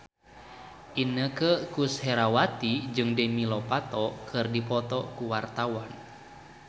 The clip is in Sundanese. Inneke Koesherawati jeung Demi Lovato keur dipoto ku wartawan